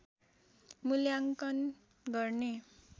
मूल्याङ्कन गर्ने